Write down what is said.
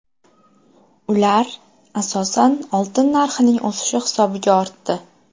Ular, asosan, oltin narxining o‘sishi hisobiga ortdi.